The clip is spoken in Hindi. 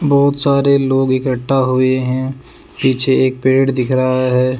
बहुत सारे लोग इकट्ठा हुए हैं पीछे एक पेड़ दिख रहा है।